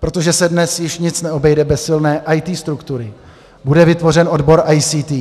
Protože se dnes již nic neobejde bez silné IT struktury, bude vytvořen odbor ICT,